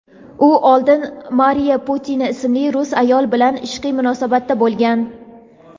u oldin Mariya Butina ismli rus ayol bilan ishqiy munosabatda bo‘lgan.